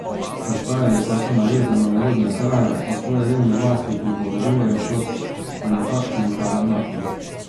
Ostajali pa so navezani na rodne kraje, o svoji revni vasi pripovedujejo kot o nekakšnem tabernaklju.